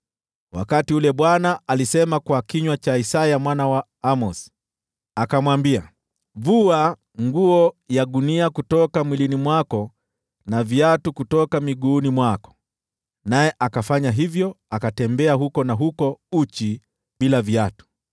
wakati ule Bwana alisema kwa kinywa cha Isaya mwana wa Amozi. Akamwambia, “Vua nguo ya gunia kutoka mwilini mwako na viatu kutoka miguuni mwako.” Naye akafanya hivyo, akatembea huku na huko uchi, bila viatu.